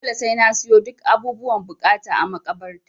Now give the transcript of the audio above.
Dole sai na siyo duk abubuwan buƙata a makabarta.